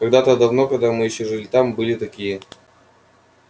когда-то давно когда мы ещё жили там были такие